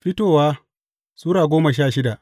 Fitowa Sura goma sha shida